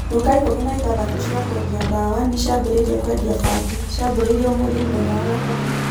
Duka ikũmi na ithathatũ cia kwendia daawa nĩ ciambĩrĩirie kwendia bangi. Ciambĩrĩirie ũmothĩ mũthenya wa gatatũ.